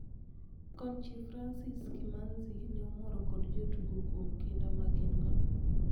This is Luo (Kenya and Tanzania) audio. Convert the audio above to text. konchie Francis Kimanzi ne omor kod jotuge kuom kinda magingo